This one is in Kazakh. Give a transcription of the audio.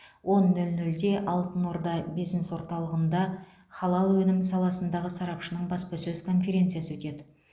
он нөл нөлде алтын орда бизнес орталығында халал өнім саласындағы сарапшының баспасөз конференциясы өтеді